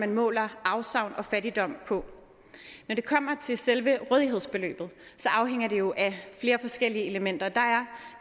måler afsavn og fattigdom på når det kommer til selve rådighedsbeløbet afhænger det jo af flere forskellige elementer